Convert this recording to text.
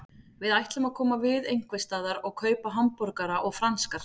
Við ætlum að koma við einhversstaðar og kaupa hamborgara og franskar.